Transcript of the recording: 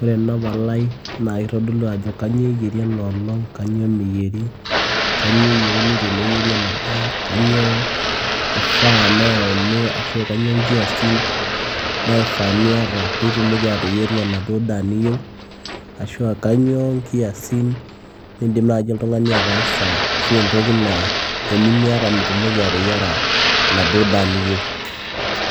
ore ena palai naa kitodolu ajo kanyio eyieri enoolong kanyio meyieri, kanyio eyieuni teneyieri ena daa kanyio ifaa neyauni ashu kanyio inkiasin naifaa niata piitumoki ateyieru enaduo daa niyieu ashu kanyio nkiasin nindim naaji oltung'ani ataasa ashu entoki naa tenimiata mitumoki ateyiara enaduo daa niyieu.